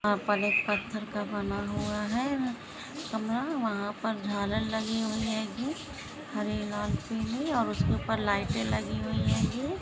यहाँ पर एक पत्थर का बना हुआ हैं कमरा वहां पर झालर लगी हुई हैं गी हरी लाल पिली और उसके ऊपर लाइटे लगी हुई होंगी।